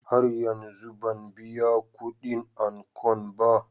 Har yanzu ban biya kudin ankon ba.